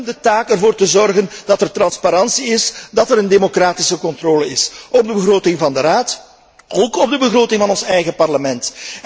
Wij hebben de taak ervoor te zorgen dat er transparantie en democratische controle is op de begroting van de Raad en ook op de begroting van ons eigen Parlement.